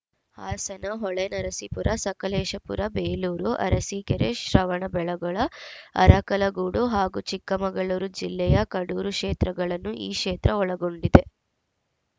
ಹಾಸನ ಹೊಳೆನರಸೀಪುರ ಸಕಲೇಶಪುರ ಬೇಲೂರು ಅರಸೀಕೆರೆ ಶ್ರವಣಬೆಳಗೊಳ ಅರಕಲಗೂಡು ಹಾಗೂ ಚಿಕ್ಕಮಗಳೂರು ಜಿಲ್ಲೆಯ ಕಡೂರು ಕ್ಷೇತ್ರಗಳನ್ನು ಈ ಕ್ಷೇತ್ರ ಒಳಗೊಂಡಿದೆ